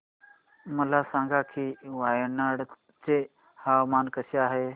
मला सांगा की वायनाड चे हवामान कसे आहे